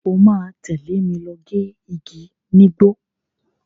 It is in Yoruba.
O máa tẹ̀lé mi lọ gé igi nígbó.